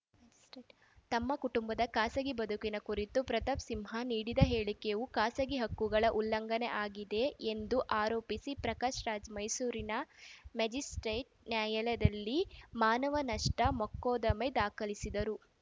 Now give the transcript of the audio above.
ತಮ್ಮ ಕುಟುಂಬದ ಖಾಸಗಿ ಬದುಕಿನ ಕುರಿತು ಪ್ರತಾಪ್‌ ಸಿಂಹ ನೀಡಿದ ಹೇಳಿಕೆಯು ಖಾಸಗಿ ಹಕ್ಕುಗಳ ಉಲ್ಲಂಘನೆಯಾಗಿದೆ ಎಂದು ಆರೋಪಿಸಿ ಪ್ರಕಾಶ್‌ ರಾಜ್‌ ಮೈಸೂರಿನ ಮ್ಯಾಜಿಸ್ಪ್ರೇಟ್‌ ನ್ಯಾಯಾಲಯದಲ್ಲಿ ಮಾನವ ನಷ್ಟಮೊಕದ್ದಮೆ ದಾಖಲಿಸಿದ್ದರು